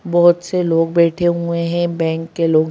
बहुत से लोग बैठे हुए हैं बैंक के लोग --